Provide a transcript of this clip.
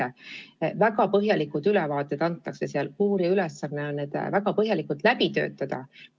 Antakse väga põhjalik ülevaade ja uurija ülesanne on see väga põhjalikult läbi töötada.